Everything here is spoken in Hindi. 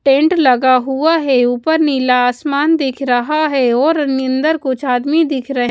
टेंट लगा हुआ है ऊपर नीला आसमान दिख रहा है और निंदर कुछ आदमी दिख रहे--